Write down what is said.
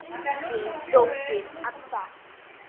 Þín dóttir, Adda.